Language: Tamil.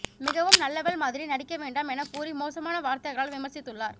மிகவும் நல்லவள் மாதிரி நடிக்க வேண்டாம் என கூறி மோசமான வார்த்திகளால் விமர்சித்துள்ளார்